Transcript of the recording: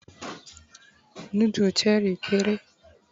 nudu Cherie kere